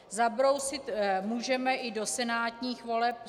Zabrousit můžeme i do senátních voleb.